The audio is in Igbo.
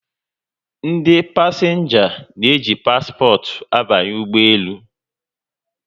Ndị pasịnja n'eji paspọt abanye n'ụgbọelu